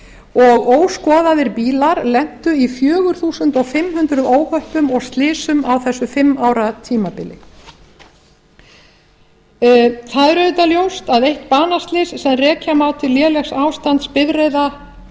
og óskoðaðir bílar lentu í fjögur þúsund fimm hundruð óhöppum og slysum á þessu fimm ára tímabili það er auðvitað ljóst að eitt banaslys sem rekja má til lélegs ástands